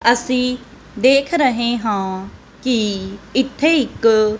ਅੱਸੀ ਦੇਖ ਰਹੇਂ ਹਾਂ ਕੀ ਇੱਥੇ ਇੱਕ--